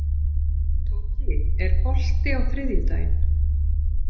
Tóki, er bolti á þriðjudaginn?